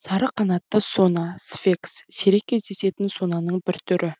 сары қанатты сона сфекс сирек кездесетін сонаның бір түрі